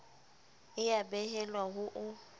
e a behelwa ho o